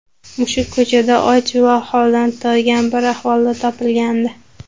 Mushuk ko‘chada och va holdan toygan bir ahvolda topilgandi.